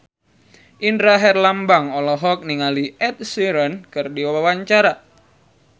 Indra Herlambang olohok ningali Ed Sheeran keur diwawancara